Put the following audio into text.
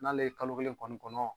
N'ale ye kalo kelen kɔni kɔnɔ